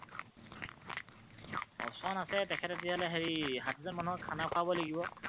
Option আছে তেখেতে তেতিয়াহলে হেৰি ষাঠি জন মানুহক খান খুৱাব লাগিব।